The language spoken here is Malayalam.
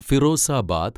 ഫിറോസാബാദ്